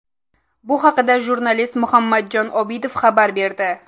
Bu haqda jurnalist Muhammadjon Obidov xabar berdi.